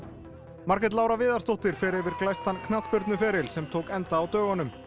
Margrét Lára Viðarsdóttir fer yfir glæstan sem tók enda á dögunum